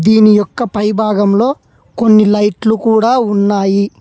దీని యొక్క పై భాగంలో కొన్ని లైట్లు కూడా ఉన్నాయి.